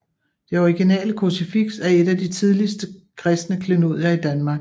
Det originale krucifiks er et af de tidligste kristne klenodier i Danmark